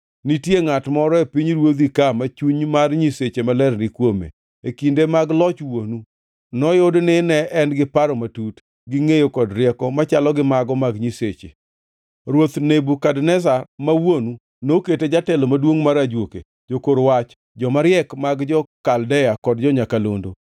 Nitie ngʼat moro e pinyruodhi ka ma chuny mar nyiseche maler ni kuome. E kinde mag loch wuonu, noyud ni en gi paro matut, gi ngʼeyo kod rieko machalo gi mago mag nyiseche. Ruoth Nebukadneza ma wuonu, nokete jatelo maduongʼ mar ajuoke, jokor wach, joma riek mag jo-Kaldea kod jo-nyakalondo.”